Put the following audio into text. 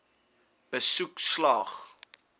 aansoek slaag